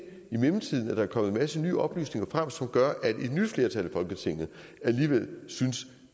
i mellemtiden er kommet en masse nye oplysninger frem som gør at et nyt flertal i folketinget alligevel synes